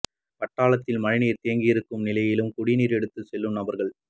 பட்டாளத்தில் மழை நீர் தேங்கியிருக்கும் நிலையிலும் குடிநீர் எடுத்து செல்லும் நபர்கள்